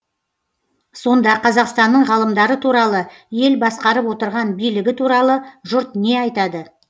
сонда қазақстанның ғалымдары туралы ел басқарып отырған билігі туралы жұрт не айтады